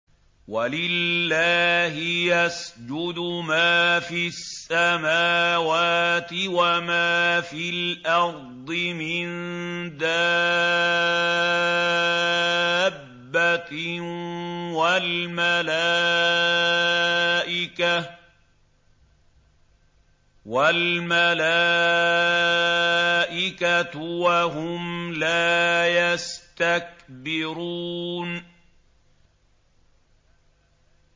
وَلِلَّهِ يَسْجُدُ مَا فِي السَّمَاوَاتِ وَمَا فِي الْأَرْضِ مِن دَابَّةٍ وَالْمَلَائِكَةُ وَهُمْ لَا يَسْتَكْبِرُونَ